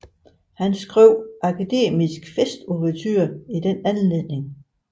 Han skrev Akademisk Festouverture i den anledning